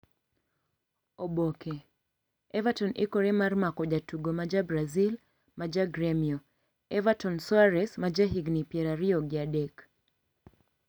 (Oboke) Everton ikore mar mako jatugo ma ja Brazil ma ja Gremio, Everton Soares, ma jahigini pier ariyob gi adek.